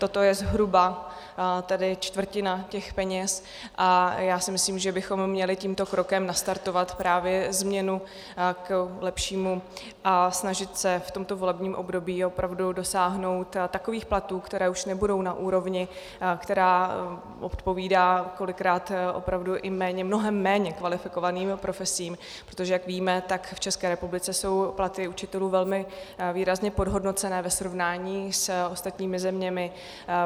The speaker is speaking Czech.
Toto je zhruba tedy čtvrtina těch peněz a já si myslím, že bychom měli tímto krokem nastartovat právě změnu k lepšímu a snažit se v tomto volebním období opravdu dosáhnout takových platů, které už nebudou na úrovni, která odpovídá kolikrát opravdu i mnohem méně kvalifikovaným profesím, protože jak víme, tak v České republice jsou platy učitelů velmi výrazně podhodnocené ve srovnání s ostatními zeměmi.